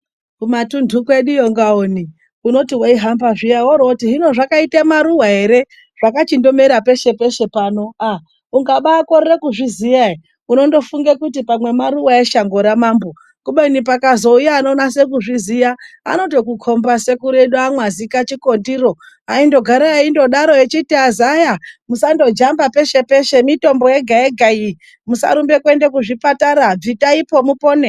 Kumatundu kwedu uko ngaoni unoti weihamba woroti hino zvakaita maruva ere, zvakachindomera peshe peshe. Pano ukabakorera kuzviziva ere unotozofunga kuti pamwe maruva eshango ramambo. Kubeni pakazouya anonasa kuzviziva anotokumba. Sekuru edu amwazichikotero aingogara akadaro achiti ,azaya musandojamba peshe peshe mitombo yega yega iyi, musarumba kuenda kuzvipatara bvitaipo mupone.